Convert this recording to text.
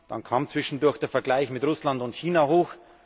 Dann kam zwischendurch der Vergleich mit Russland und China hoch.